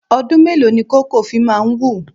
Ọdún mélòó ni koko fi máa ń wù?